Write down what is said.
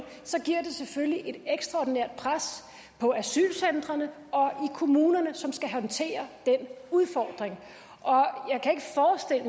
giver selvfølgelig et ekstraordinært pres på asylcentrene og i kommunerne som skal håndtere den udfordring